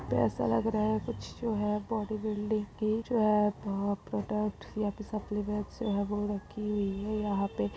पैसा लग राये कुछ जो है बॉडी बिल्डिंग की जो है प्रॉडक्ट सप्लीमेंट ।